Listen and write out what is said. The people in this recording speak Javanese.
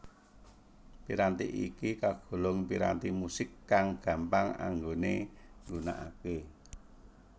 Piranti iki kagolong piranti musik kang gampang anggone nggunakake